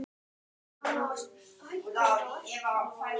Sigurörn, hversu margir dagar fram að næsta fríi?